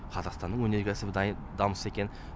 қазақстанның өнеркәсібі дамыса екен